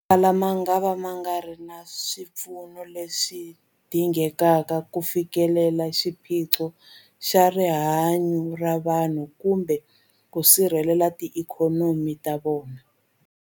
Motala mangava ma nga ri na swipfuno leswi dingekaka ku fikelela xiphiqo xa rihanyu ra vanhu kumbe ku sirhelela tiikhonomi ta vona.